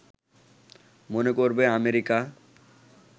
মনে করবে আমেরিকা